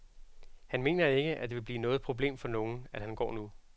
Han mener ikke, at det bliver noget problem for nogen, at han går nu.